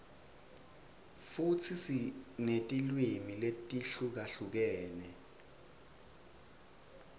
futsi sinetilwimi letihlukahlukene